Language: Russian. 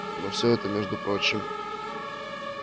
но всё это между прочим